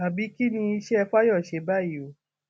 àbí kín ni iṣẹ fáyọṣe báyìí o